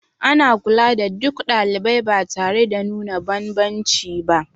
Ana kula da duk ɗalibai ba tare da nuna banbanci ba